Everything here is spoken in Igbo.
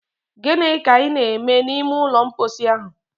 Gịnị ka ị na-eme n'ime ụlọ mposi ahụ?